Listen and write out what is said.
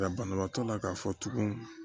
banabaatɔ la k'a fɔ tugun